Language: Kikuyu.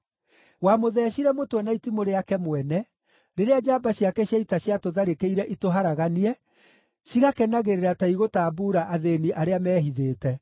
Wamũtheecire mũtwe na itimũ rĩake mwene, rĩrĩa njamba ciake cia ita ciatũtharĩkĩire itũharaganie; cigakenagĩrĩra ta igũtambuura athĩĩni arĩa mehithĩte.